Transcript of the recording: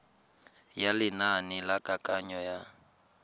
ya lenane la kananyo ya